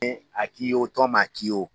a k'i ye o tɔn man k'i ye o.